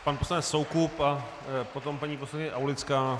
Pan poslanec Soukup a potom paní poslankyně Aulická.